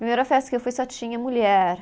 A primeira festa que eu fui só tinha mulher.